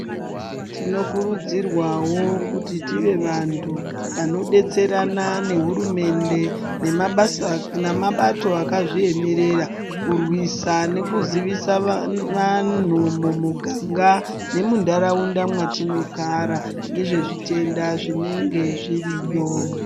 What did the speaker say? Tinokurudzirwawo kuti tive vanhu vanodetserana nehurumende nemabato akazviemerera kurwisa nekuzivisa vanhu mumuganga nemunharaunda mwetinogara nezvezvitenda zvinenge zviriyo